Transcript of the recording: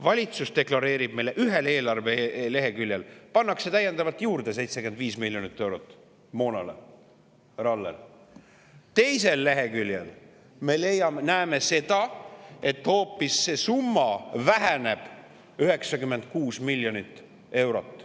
Valitsus deklareerib meile ühel eelarveleheküljel, et 75 miljonit eurot pannakse moona soetuseks juurde, härra Aller, aga teisel leheküljel me näeme seda, et see summa hoopis väheneb 96 miljonit eurot.